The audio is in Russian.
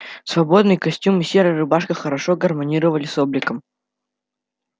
свободный костюм и серая рубашка хорошо гармонировали с обликом